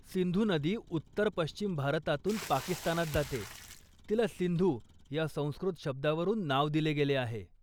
सिंधू नदी उत्तर पश्चिम भारतातून पाकिस्तानात जाते, तिला सिंधू या संस्कृत शब्दावरून नाव दिले गेले आहे.